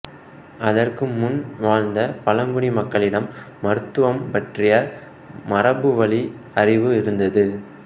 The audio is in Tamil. அதற்கு முன் வாழ்ந்த பழங்குடி மக்களிடம் மருத்துவம் பற்றிய மரபுவழி அறிவு இருந்தது